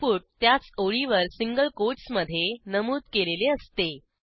input त्याच ओळीवर single कोटसमधे नमूद केलेले असते